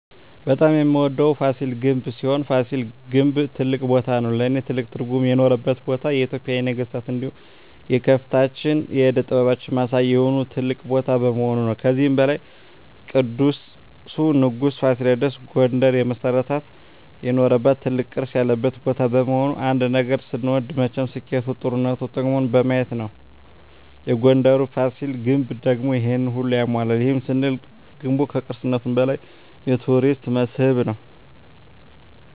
በጣም የምወደዉ ፋሲል ግንብ ሲሆን ፋሲል ግን ትልቅ ቦታም ነዉ ለእኔ ትልቅ ትርጉም የኖረባት ቦታ የኢትጵያን የነገስታት እንዲሁም የከፍታችን የእደ ጥበባችን ማሳያ የሆነ ትልቅ ቦታ በመሆኑ ነዉ። ከዚህም በላይ ቅዱሱ ንጉስ ፋሲለደስ ጉንደርን የመሰረተበት የኖረበት ትልቅ ቅርስ ያለበት ቦታ በመሆኑ ነዉ። አንድ ነገር ስንወድ መቸም ስኬቱ ጥሩነቱ ጥቅሙን በማየት ነዉ የጉንደሩ ፋሲል ግንብ ደግሞ ይሄንን ሁሉ ያሟላል ይህንንም ስንል ገንቡ ከቅርስነቱም በላይ የቱሪስት መስህብ ነዉ።